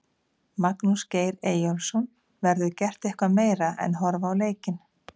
Magnús Geir Eyjólfsson: Verður gert eitthvað meira en horfa á leikinn?